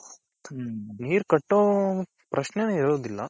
ನೀರ್ ಕಟ್ಟೋ ಪ್ರಶ್ನೇನೆ ಇರೋದಿಲ್ಲ.